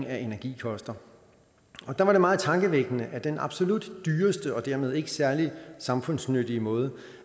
af energi koster og der var det meget tankevækkende at den absolut dyreste og dermed ikke særlig samfundsnyttige måde